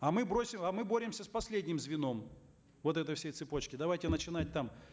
а мы бросим а мы боремся с последним звеном вот этой всей цепочки давайте начинать там